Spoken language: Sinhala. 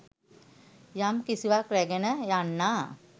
යම් කිසිවක් රැගෙන යන්නා.